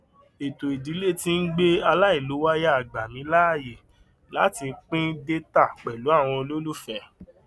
ètò ìdílé tí ń gbé aláìlòwàyà gba mí láàyè láti pín dẹtà pẹlú àwọn olólùfé